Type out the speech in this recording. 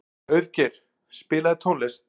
Auðgeir, spilaðu tónlist.